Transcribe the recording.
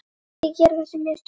Ekki gera þessi mistök.